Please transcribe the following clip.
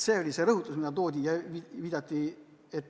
See oli see, mida esile toodi.